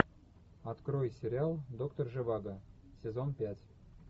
открой сериал доктор живаго сезон пять